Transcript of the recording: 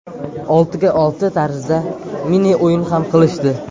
Oltiga olti tarzida mini-o‘yin ham qilishdi.